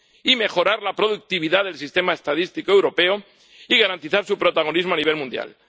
Y tercero, mejorar la productividad del sistema estadístico europeo y garantizar su protagonismo a nivel mundial.